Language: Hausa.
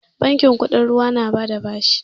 Bankin kuɗin ruwa na ba da bashi